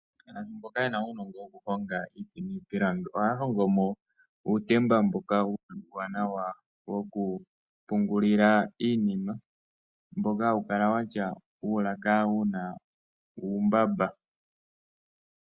Aantu yamwe mboka ye na uunongo wokuhonga iiti niipilangi ohaya hongo mo uutemba mboka uuwanawa wokupungulila iinima mboka hawu kala wa tya uulaka wu na uumbamba.